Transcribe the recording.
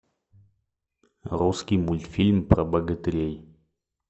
русский мультфильм про богатырей